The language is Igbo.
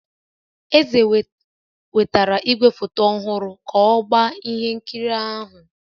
Eze wetara igwefoto ọhụrụ ka ọ gbaa ihe nkiri ahụ